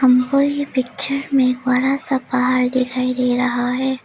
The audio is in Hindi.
और यह पिक्चर में बड़ा सा पहाड़ दिखाई दे रहा है।